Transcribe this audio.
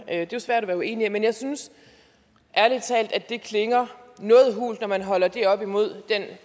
er jo svært at være uenig i men jeg synes ærlig talt at det klinger noget hult når man holder det op imod den